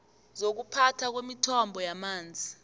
zokuphathwa kwemithombo yamanzi